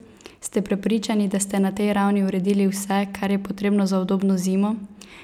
Ste prepričani, da ste na tej ravni uredili vse, kar je potrebno za udobno zimo?